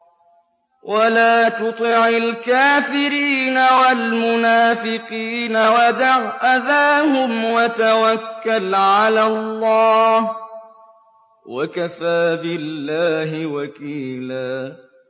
وَلَا تُطِعِ الْكَافِرِينَ وَالْمُنَافِقِينَ وَدَعْ أَذَاهُمْ وَتَوَكَّلْ عَلَى اللَّهِ ۚ وَكَفَىٰ بِاللَّهِ وَكِيلًا